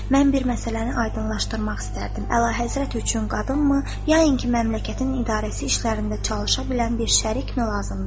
“Mən bir məsələni aydınlaşdırmaq istərdim: Əlahəzrət üçün qadınmı, yainki məmləkətin idarəsi işlərində çalışa bilən bir şərikmi lazımdır?”